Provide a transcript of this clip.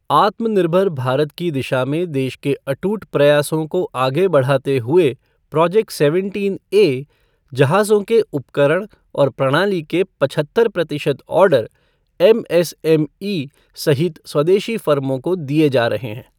आत्मनिर्भर भारत की दिशा में देश के अटूट प्रयासों को आगे बढ़ाते हुए प्रोजेक्ट सेवेंटीनए जहाजों के उपकरण और प्रणाली के पतहत्तर प्रतिशत order M S M E सहित स्वदेशी फर्मों को दिए जा रहे हैं।